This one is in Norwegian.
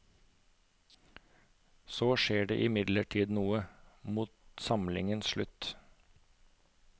Så skjer det imidlertid noe, mot samlingens slutt.